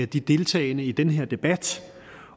de deltagende i den her debat